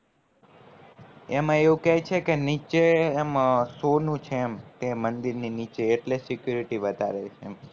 એમાં એવું કે છે કે નીચે એમ સોનું છે કે માંડીએ ની નીચે એટલે security વધારે છે એમ